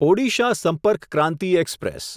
Odisha Sampark Kranti express